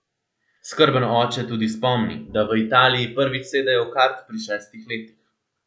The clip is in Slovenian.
Skrben oče tudi spomni, da v Italiji prvič sedejo v kart pri šestih letih.